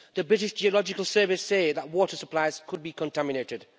The British Geological Service say that water supplies could be contaminated.